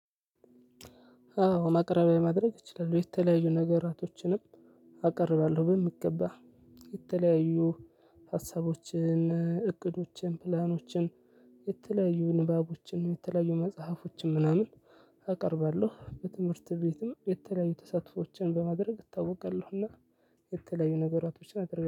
አዎ ማቅረቢያ ማቅረብ ይችላሉ። የተለያዩ ነገራቶችንም አቀርባለሁ። በሚገባ የተለያዩ ሀሳቦችን፣ እቅዶችን፣ ፕላኖችን፣ የተለያዩ ንባቦችን፣ የተለያዩ መጽሐፎችን፣ ምናምን አቀርባለሁ። በትምህርት ቤትም የተለያዩ ተሳትፎዎችን በማድረግ እታወቃለሁና። የተለያዩ ነገራቶችን አደርጋለው